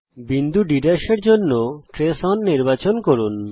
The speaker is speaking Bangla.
বিন্দু D এর জন্য ট্রেস ওন নির্বাচন করুন